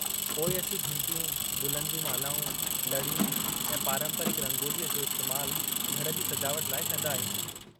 पोइ असीं घिंटियूं गुलनि जूं मालाऊं, लड़ियूं ऐं पारंपरिकु रंगोलीअ जो इस्तेमालु घर जी सजावट लाइ कंदा आहियूं।